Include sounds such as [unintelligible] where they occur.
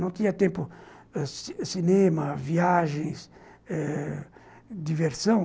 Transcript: Não tinha tempo [unintelligible] cinema, viagens ãh... diversão.